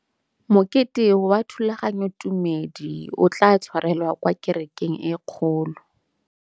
Mokete wa thulaganyôtumêdi o tla tshwarelwa kwa kerekeng e kgolo.